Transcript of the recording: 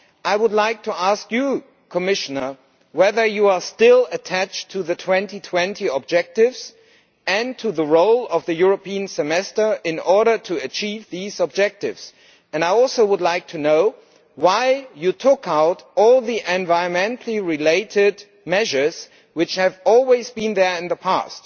I would like to ask you, Commissioner, whether you are still attached to the 2020 objectives and to the role of the European Semester in order to achieve these objectives, and I also would like to know why you took out all the environment related measures, which have always been there in the past.